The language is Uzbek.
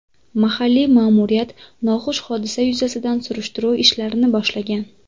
Mahalliy ma’muriyat noxush hodisa yuzasidan surishtiruv ishlarini boshlagan.